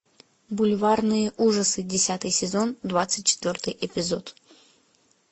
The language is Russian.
бульварные ужасы десятый сезон двадцать четвертый эпизод